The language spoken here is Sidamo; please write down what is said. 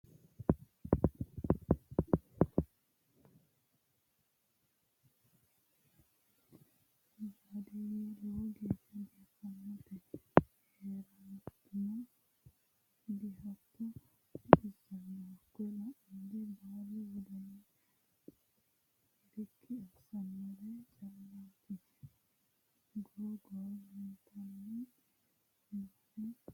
Baadiyye lowo geeshsha biifanote heerateno dihatto baxisano hakko la'nanniri baalu wodana hirikki assanore callati ,goro goro leeltani nooe haqqeno hatto.